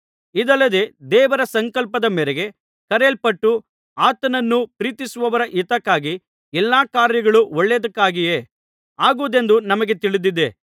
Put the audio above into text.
ಇದಲ್ಲದೆ ದೇವರ ಸಂಕಲ್ಪದ ಮೇರೆಗೆ ಕರೆಯಲ್ಪಟ್ಟು ಆತನನ್ನು ಪ್ರೀತಿಸುವವರ ಹಿತಕ್ಕಾಗಿ ಎಲ್ಲಾ ಕಾರ್ಯಗಳು ಒಳ್ಳೆಯದಕ್ಕಾಗಿಯೇ ಆಗುವುದೆಂದು ನಮಗೆ ತಿಳಿದಿದೆ